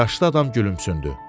Yaşlı adam gülümsündü.